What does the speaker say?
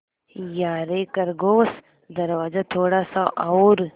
यारे खरगोश दरवाज़ा थोड़ा सा और